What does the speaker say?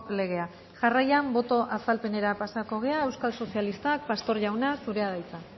legea jarraian boto azalpenera pasako gara euskal sozialistak pastor jauna zurea da hitza